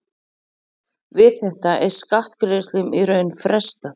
Við þetta er skattgreiðslum í raun frestað.